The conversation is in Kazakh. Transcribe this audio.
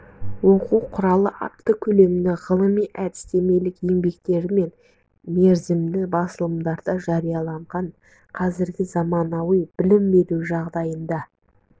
оқу құралы атты көлемді ғылыми-әдістемелік еңбектері мен мерзімді басылымдарда жарияланған қазіргі заманауи білім беру жағдайында